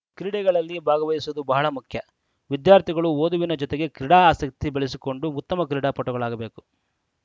ಕ್ರೀಡೆಗಳಲ್ಲಿ ಭಾಗವಹಿಸುವುದು ಬಹಳ ಮುಖ್ಯ ವಿದ್ಯಾರ್ಥಿಗಳು ಓದುವಿನ ಜೊತೆಗೆ ಕ್ರೀಡಾಸಕ್ತಿ ಬೆಳೆಸಿಕೊಂಡು ಉತ್ತಮ ಕ್ರೀಡಾಪಟುಗಳಾಗಬೇಕು